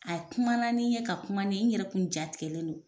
A ye kumana ni n ye ka kuma ni n ye n yɛrɛ kun jatigɛlen don.